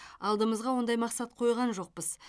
алдымызға ондай мақсат қойған жоқпыз